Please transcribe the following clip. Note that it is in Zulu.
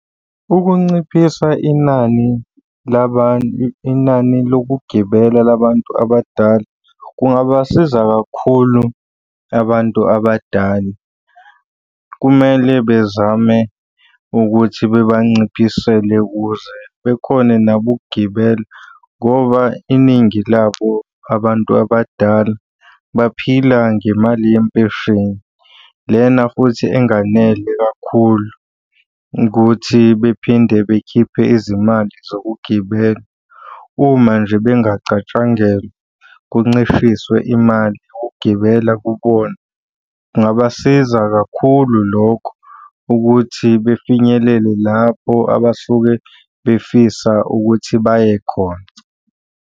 Ukunciphisa inani , inani lokugibela la bantu abadala kungabasiza kakhulu abantu abadala. Kumele bezame ukuthi bebanciphisele ukuze bekhone nabo ukugibela ngoba iningi labo abantu abadala baphila ngemali yempesheni. Lena futhi enganele kakhulu ukuthi bephinde bekhiphe izimali zokugibela uma nje bengacatshangelwa kuncishiswe imali yokugibela kubona. Kungabasiza kakhulu lokho ukuthi befinyelele lapho abasuke befisa ukuthi baye khona.